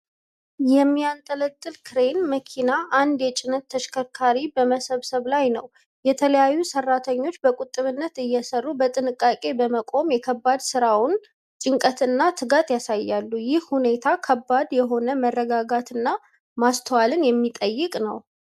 የሚያንጠለጥል ክሬን መኪና አንድ የጭነት ተሽከርካሪ በመሰብሰብ ላይ ነው። የተለያዩ ሰራተኞች በቁጥብነት እየሰሩ፣ በጥንቃቄ በመቆም የከባድ ስራውን ጭንቀትና ትጋት ያሳያሉ። ይህ ሁኔታ ከባድ የሆነ መረጋጋትና ማስተዋል የሚጠይቅ ነው።